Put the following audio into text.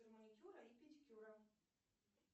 маникюра и педикюра